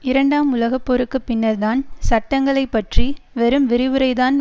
இரண்டாம் உலக போருக்கு பின்னர் தான் சட்டங்களை பற்றி வெறும் விரிவுரைதான்